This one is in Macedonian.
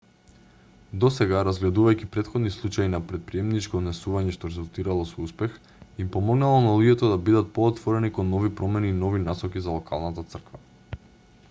досега разгледувајќи претходни случаи на претприемничко однесување што резултирало со успех им помогнало на луѓето да бидет поотворени кон нови промени и нови насоки за локалната црква